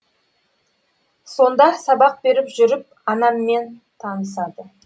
сонда сабақ беріп жүріп анаммен танысады